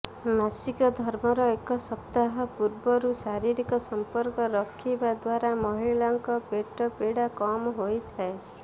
ମାସିକ ଧର୍ମର ଏକ ସପ୍ତାହ ପୂର୍ବରୁ ଶାରୀରିକ ସମ୍ପର୍କ ରଖିବା ଦ୍ୱାରା ମହିଳାଙ୍କ ପେଟପୀଡ଼ା କମ୍ ହୋଇଥାଏ